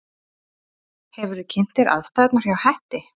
Hefurðu kynnt þér aðstæðurnar hjá Hetti?